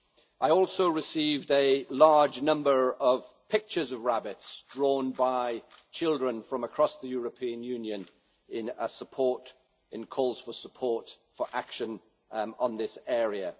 I also received a large number of pictures of rabbits, drawn by children from across the European Union, in calls for support for action in this area.